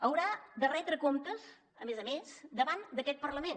haurà de retre comptes a més a més davant d’aquest parlament